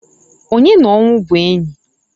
Onye n'ọnwụ bụ enyi?